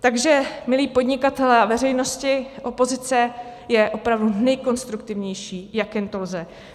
Takže milí podnikatelé a veřejnosti, opozice je opravdu nejkonstruktivnější, jak jen to lze.